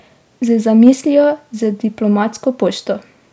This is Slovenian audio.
Z zamislijo z diplomatsko pošto.